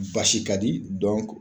Basi ka di dɔnku